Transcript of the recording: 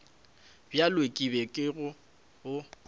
bjo ke bego ke bo